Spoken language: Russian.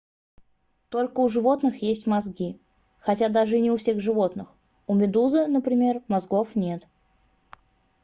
только у животных есть мозги хотя даже и не у всех животных; у медузы например мозгов нет